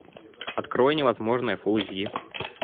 открой невозможное фулл эйч ди